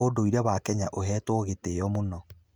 ũndũire wa Kenya ũhetwo gĩtĩo mũno.